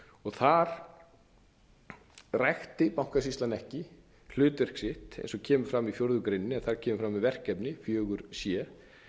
þar rækti bankasýslan ekki hlutverk sitt eins og kemur fram í fjórða grein eða þar kemur fram um verkefni fjórða c